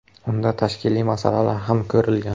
Unda tashkiliy masalalar ham ko‘rilgan.